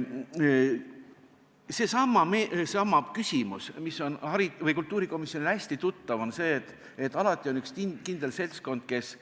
Komisjoni istungilt käis läbi seesama küsimus, mis on kultuurikomisjonile hästi tuttav, et alati on üks kindel seltskond, kes